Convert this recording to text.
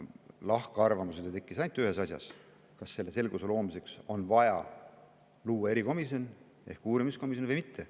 Lahkarvamusi tekkis ainult ühes asjas: kas selle selguse loomiseks on vaja luua erikomisjon ehk uurimiskomisjon või mitte.